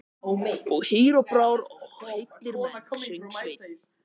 Og hýr á brá og heillar menn, söng Sveinn.